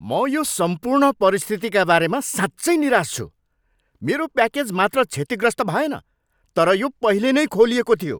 म यो सम्पूर्ण परिस्थितिका बारेमा साँच्चै निराश छु। मेरो प्याकेज मात्र क्षतिग्रस्त भएन, तर यो पहिले नै खोलिएको थियो!